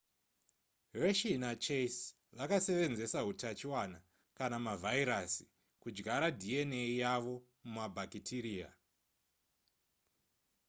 hershey nachase vakasevenzesa hutachiona kana mavhairasi kudyara dna yavo mumabhakitiriya